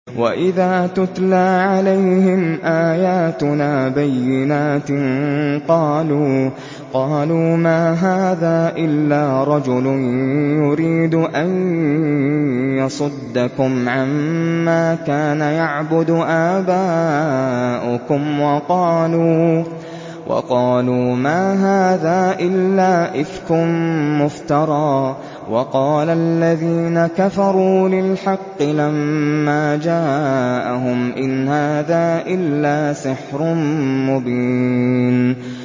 وَإِذَا تُتْلَىٰ عَلَيْهِمْ آيَاتُنَا بَيِّنَاتٍ قَالُوا مَا هَٰذَا إِلَّا رَجُلٌ يُرِيدُ أَن يَصُدَّكُمْ عَمَّا كَانَ يَعْبُدُ آبَاؤُكُمْ وَقَالُوا مَا هَٰذَا إِلَّا إِفْكٌ مُّفْتَرًى ۚ وَقَالَ الَّذِينَ كَفَرُوا لِلْحَقِّ لَمَّا جَاءَهُمْ إِنْ هَٰذَا إِلَّا سِحْرٌ مُّبِينٌ